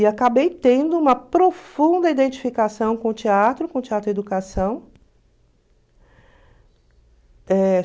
E acabei tendo uma profunda identificação com o teatro, com o teatro educação. Eh...